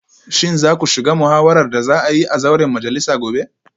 Shin za ku shiga muhawarar da za a yi a zauren majalisa gobe?